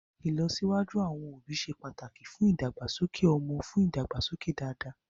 Ìlọ́wọ́sí àwọn òbí ṣe pàtàkì fún ìdàgbàsókè ọmọ fún ìdàgbàsókè dáadáa.